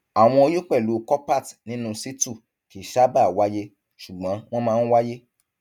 àwọn oyún pẹlú coppert nínú situ kì í sábà wáyé ṣùgbọn wọn máa ń wáyé